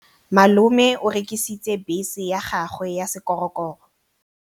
Malome o rekisitse bese ya gagwe ya sekgorokgoro.